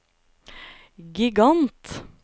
gigant